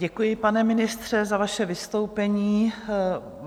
Děkuji, pane ministře, za vaše vystoupení.